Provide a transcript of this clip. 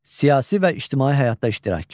Siyasi və ictimai həyatda iştirak.